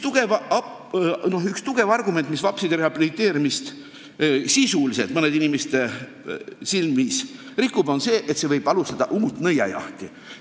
Üks tugev argument vapside rehabiliteerimise vastu on mõnede inimeste arvates see, et see võib käivitada uue nõiajahi.